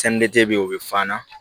bɛ yen o bɛ f'an na